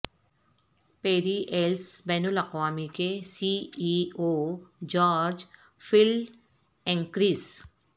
پیری Ellis بین الاقوامی کے C E O George Feldenkrais